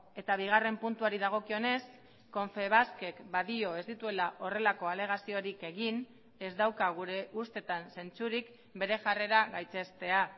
eta bigarren puntuari dagokionez confebaskek badio ez dituela horrelako alegaziorik egin ez dauka gure ustetan zentzurik bere jarrera gaitzestea